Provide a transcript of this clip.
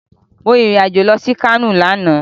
Mo rìn irìn-àjò lọ sí Kano lánàá